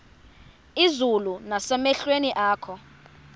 izulu nasemehlweni akho